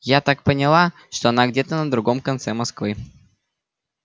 я так поняла что она где-то на другом конце москвы